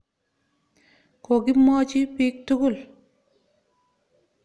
Kokimwochi piik tukul.